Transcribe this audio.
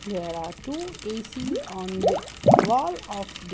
There are two A_C's on the wall of the --